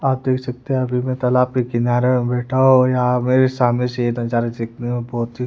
आप देख सकते हैं अभी मैं तलाब के किनारे बैठा हूं या मेरे सामने से ये नजारे देखने में बहोत ही--